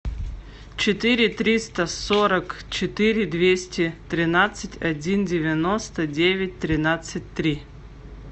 четыре триста сорок четыре двести тринадцать один девяносто девять тринадцать три